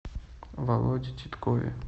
володе титкове